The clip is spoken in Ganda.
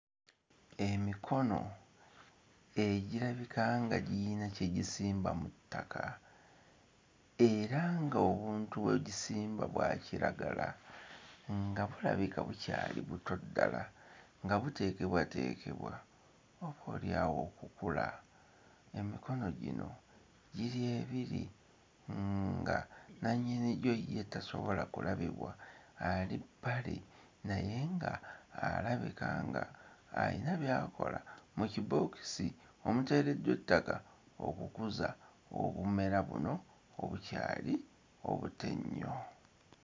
Emikono egirabika nga girina kye gisimba mu ttaka era ng'obuntu bwe gisimba bwa kiragala nga bulabika bukyali buto ddala nga buteekebwateekebwa oboolyawo okukula. Emikono gino giri ebiri nga nnannyinigyo ye tasobola kulabibwa ali bbali naye nga alabika nga albika ng'alina by'akola mu kibookisi omuteereddwa ettaka okukuza obumwera buno obukyali obuto ennyo.